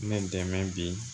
Ne dɛmɛ bi